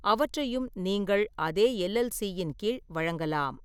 அவற்றையும் நீங்கள் அதே எல்.எல்.சி.யின் கீழ் வழங்கலாம்.